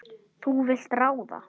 Þú vilt ráða.